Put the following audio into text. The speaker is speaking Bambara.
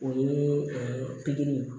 O ye pikiri